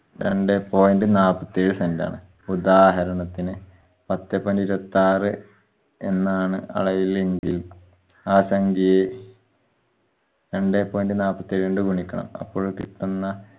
രണ്ടേ point നാപ്പത്തേഴ് cent ആണ്. ഉതാഹരണത്തിന് പത്ത് point ഇരുപത്താറ് എന്നാണ് അളവിലെങ്കിൽ ആ സംഘ്യയെ രണ്ടേ point നാപ്പത്തേഴ് കൊണ്ട് ഗുണിക്കണം അപ്പോഴ് കിട്ടുന്ന